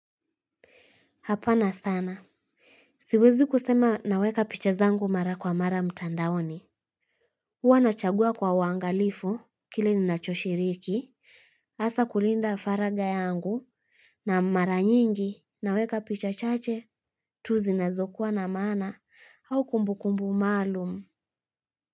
Hapana sana. Siwezi kusema naweka picha zangu mara kwa mara mtandaoni. Huwa nachagua kwa uangalifu kile ninacho shiriki, hasaa kulinda faragha yangu na mara nyingi naweka picha chache tu zinazokuwa na maana au kumbukumbu maalum.